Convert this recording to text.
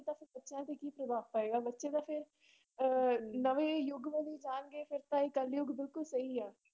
ਤਾਂ ਫਿਰ ਬੱਚਿਆਂ ਤੇ ਕੀ ਪ੍ਰਭਾਵ ਪਏਗਾ, ਬੱਚੇ ਤਾਂ ਫਿਰ ਅਹ ਨਵੇਂ ਯੁੱਗ ਵੱਲ ਹੀ ਜਾਣਗੇ ਫਿਰ ਤਾਂ ਇਹ ਕਲਯੁੱਗ ਬਿਲਕੁਲ ਸਹੀ ਆ।